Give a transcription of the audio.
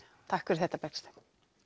takk fyrir þetta Bergsteinn